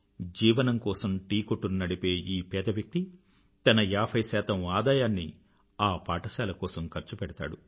జీవనం కోసం టీకొట్టును నడిపే ఈ పేద వ్యక్తి తన ఏభై శాతం ఆదాయాన్ని ఆ పాఠశాల కోసం ఖర్చు పెడతాడు